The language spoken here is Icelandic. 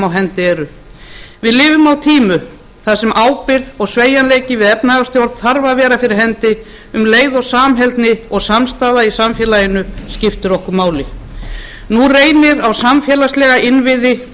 hendi eru við lifum á tímum þar sem ábyrgð og sveigjanleiki við efnahagsstjórn þarf að vera dyr hendi um leið og samheldni og samstaða í samfélaginu skiptir okkur máli nú reynir á samfélagslega innviði og